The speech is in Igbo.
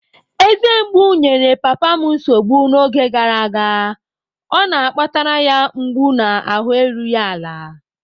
Eze mgbu enyere papa m nsogbu n'oge gara aga, o akpatara ya mgbu na ahụ erughị ala.